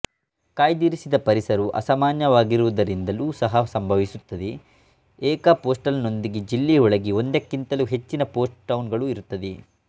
ಕಾಯ್ದಿರಿಸಿದ ಪರಿಸರವು ಅಸಾಮಾನ್ಯವಾಗಿರುವುದರಿಂದಲೂ ಸಹಾ ಸಂಭವಿಸುತ್ತದೆ ಏಕ ಪೋಸ್ಟಲ್ ನೊಂದಿಗೆ ಜಿಲ್ಲೆಯೊಳಗೆ ಒಂದಕ್ಕಿಂತಲೂ ಹೆಚ್ಚಿನ ಪೋಸ್ಟ್ ಟೌನ್ ಇರುತ್ತದೆ